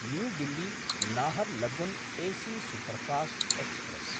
new दिल्ली–नाहरलगुन् AC superfast express